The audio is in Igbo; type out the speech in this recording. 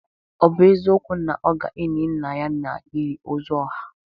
Ọ bụ eziokwu na ọ ga-eli nna ya n'ili ozu ọha?